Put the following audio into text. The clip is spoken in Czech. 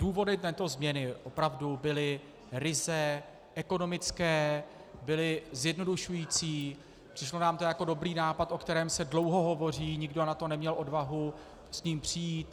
Důvody této změny opravdu byly ryze ekonomické, byly zjednodušující, přišlo nám to jako dobrý nápad, o kterém se dlouho hovoří, nikdo na to neměl odvahu s tím přijít.